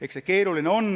Eks see keeruline on.